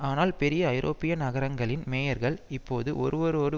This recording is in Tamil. ஆனால் பெரிய ஐரோப்பிய நகரங்களின் மேயர்கள் இப்போது ஒருவரோடு